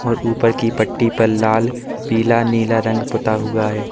और ऊपर की पट्टी पर लाल पीला नीला रंग पुता हुआ है।